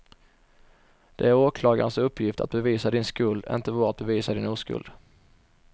Det är åklagarens uppgift att bevisa din skuld, inte vår att bevisa din oskuld.